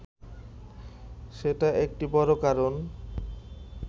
সেটি একটি বড় কারণ